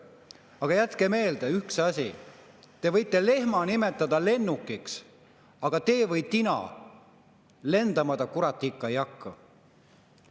Aga jätke meelde üks asi: te võite lehma nimetada lennukiks, aga tee või tina, lendama ta, kurat, ikka ei hakka.